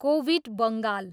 Covid Bengal.